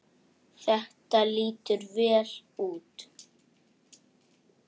Þetta lítur vel út.